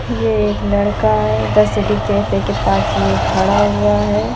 ये एक लड़का है और सिटी कैफै के पास यह खड़ा हुआ है।